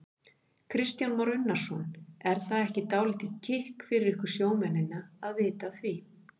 Kristján Már Unnarsson: Er það ekki dálítið kikk fyrir ykkur sjómennina að vita af því?